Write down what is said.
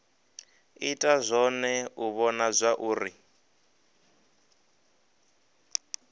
ita zwone u vhona zwauri